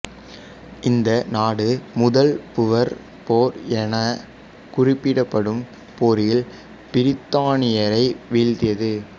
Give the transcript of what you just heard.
இந்த நாடு முதல் பூவர் போர் எனக் குறிப்பிடப்படும் போரில் பிரித்தானியரை வீழ்த்தியது